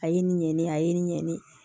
A ye nin ɲɛni a ye n ɲɛni